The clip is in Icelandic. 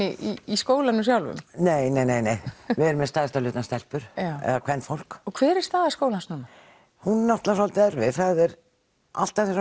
í skólanum sjálfum nei nei nei nei við erum með stærstan hluta stelpur eða kvenfólk en hver er staða skólans núna hún er náttúrulega svolítið erfið alltaf þegar